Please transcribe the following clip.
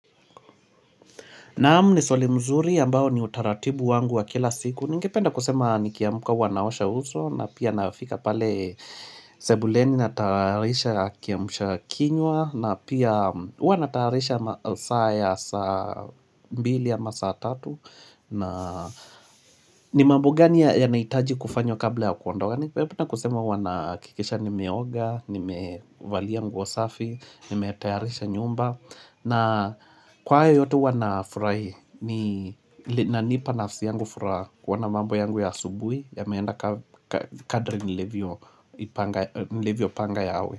Naam ni swali mzuri ambao ni utaratibu wangu wa kila siku. Ningependa kusema nikiamka huwa naosha uso na pia nafika pale sebuleni natayarisha kiamsha kinywa na pia huwa natayarisha saa mbili ama saa tatu. Na ni mambo gani yanahitaji kufanywa kabla ya kuondoka. Kwani hivyo na kusema wana kikisha nimeoga, nimevalia nguo safi, nimetayarisha nyumba na kwa hayo yote huwa ninafurahia inanipa nafsi yangu furaha kuona mambo yangu ya asubuhi yameenda kadri nilivyoipanga nilivyopanga yawe.